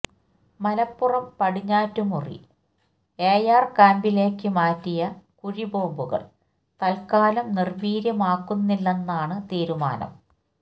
Malappuram Padinjattummuri AR ക്യാന്പിലേക്കു മാറ്റിയ കുഴി ബോംബുകള് തല്ക്കാലം നീര്വീര്യമാക്കുന്നില്ലെന്നാണ് തീരുമാനം